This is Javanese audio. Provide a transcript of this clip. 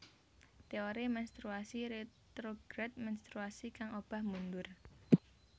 Teori menstruasi retrograd menstruasi kang obah mundur